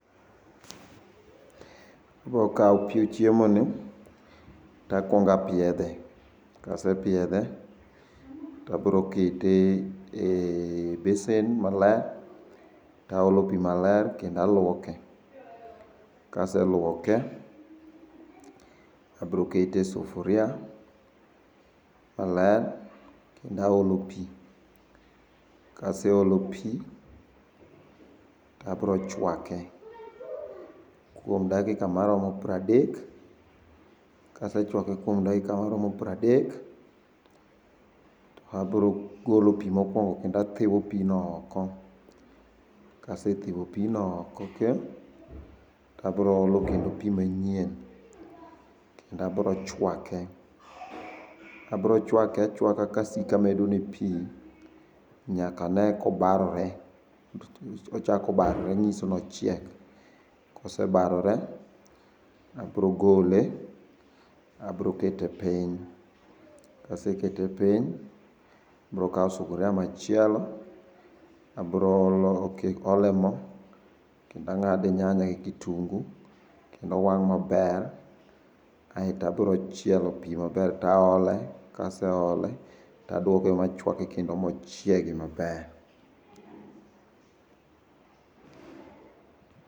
Abro kawo piyo chiemoni to akwongo apiedhe, kasepiedhe to abro kete e besen maler taolo pii maler kendo alwoke. Kaselwoke abro kete e sufuria maler kendo aolo pii. Kase olo pii to abro chwake kuom dakika maromo pradek. Kasechwake kuom dakika maromo pradek, to abro golo pii mokwongo kendo athiwo pino oko. Kasethiwo pino oko te, tabiro olo kendo pi manyien kendo abro chwake. Abiro chwake achwaka ka asiko amedone pii nyaka ane kobarore, ochako barore nyiso nochiek. Kosebarore abiro gole, abiro kete piny. Kasekete piny, abiro kawo sufuria machielo, abro ole mo kendo ang'ado nyanya gi kitunguu kendo wang' maber aeto abiro chielo pii maber to aole, kaseole to adwoke machwake kendo mochiegi maber.